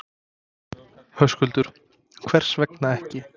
Höskuldur: Hvers vegna ekki?